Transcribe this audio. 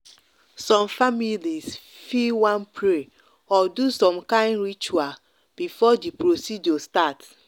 some families fi wan pray or do some kind ritual before the procedure start.